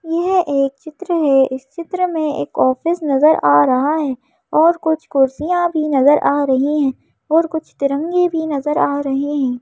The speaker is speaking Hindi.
यह एक चित्र है इस चित्र में एक ऑफिस नजर आ रहा है और कुछ कुर्सियां भी नजर आ रही है और कुछ तिरंगे भी नजर आ रहे है।